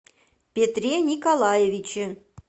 петре николаевиче